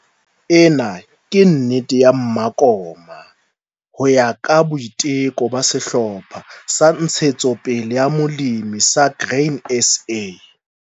Ena ke nnete ya mmakoma ho ya ka boiteko ba sehlopha sa Ntshetsopele ya Molemi sa Grain SA.